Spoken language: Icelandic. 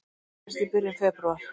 Það gerðist í byrjun febrúar.